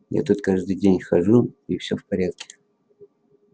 я тут каждый день хожу и всё в порядке